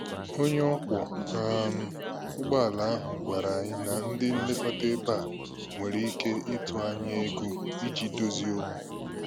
Onye ọkwọ um ụgbọala ahụ gwàrà anyị na ndị nlekọta ebe a nwere ike ịtụ anya ego iji dozie okwu